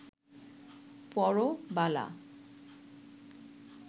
পরো বালা